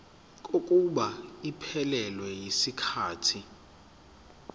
kokuba iphelele yisikhathi